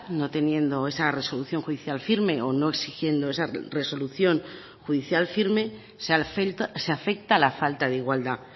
no teniendo esa resolución judicial firme o no exigiendo esa resolución judicial firme se afecta a la falta de igualdad